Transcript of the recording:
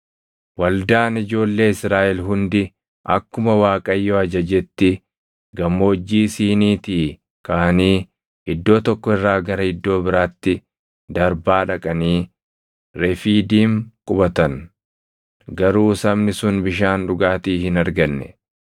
Waldaan ijoollee Israaʼel hundi akkuma Waaqayyo ajajetti Gammoojjii Siiniitii kaʼanii iddoo tokko irraa gara iddoo biraatti darbaa dhaqanii Refiidiim qubatan. Garuu sabni sun bishaan dhugaatii hin arganne.